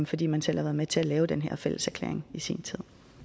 fordi man selv var med til at lave den her fælleserklæring i sin tid